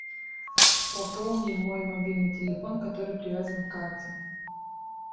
пополни мой мобильный телефон который привязан к карте